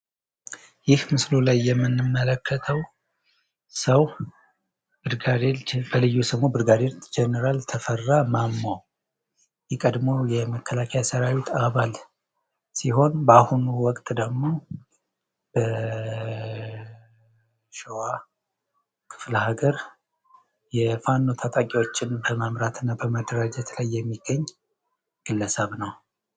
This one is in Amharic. ይህ በምስሉ ላይ የምንመለከተው ሰው ብርጋዴር ጀነራል ተፈራ ማሞ የቀድሞ የመከላከያ ሠራዊት አባል ሲሆን በአሁኑ ወቅት ደግሞ ሸዋ ክፍል ሃገር የፋኖ ታጣቂዎችን በመምራትና በማደራጀት ላይ የሚገኝ ግለሰብ ነው።